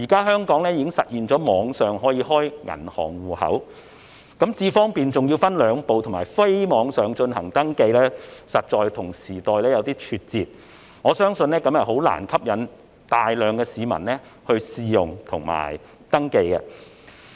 香港現時已實現網上開立銀行戶口，但"智方便"還要分兩步進行登記，以及非網上進行升級，實在與時代有點脫節，我相信這樣難以吸引大量市民試用及登記。